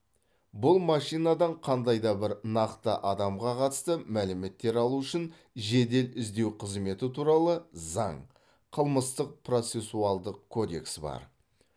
бұл машинадан қандай да бір нақты адамға қатысты мәліметтер алу үшін жедел іздеу қызметі туралы заң қылмыстық процессуалдық кодексі бар